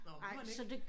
Nåh må man ikke det